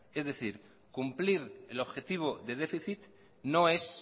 es decir cumplir el objetivo de déficit no es